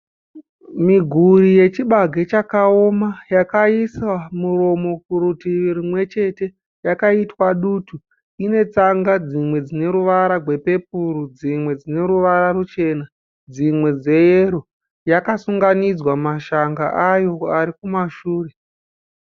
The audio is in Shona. Miguri yechibage chakoma yakaiswa muromo kudivi rumwe chete chine ruvara rwepepuru, rwumwe ruchena, rwumwe yero yakasunganidzwa mashanga ayo ari kumashure.